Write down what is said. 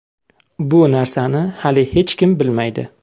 Bu narsani hali hech kim bilmaydi.